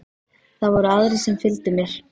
Það voru aðrir sem fylgdu mér.